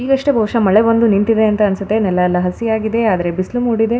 ಈಗಷ್ಟೇ ಬಹುಶ ಮಳೆ ಬಂದು ನಿಂತಿದೆ ಅಂತ ಅನ್ಸುತ್ತೆ ನೆಲ ಎಲ್ಲ ಹಸಿಯಾಗಿದೆ ಆದ್ರೆ ಬಿಸಿಲು ಮೂಡಿದೆ --